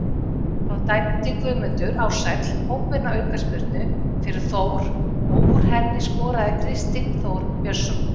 Þá dæmdi Guðmundur Ársæll óbeina aukaspyrnu fyrir Þór og úr henni skoraði Kristinn Þór Björnsson.